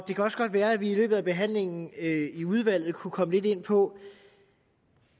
det kan også godt være at vi i løbet af behandlingen i udvalget kunne komme lidt ind på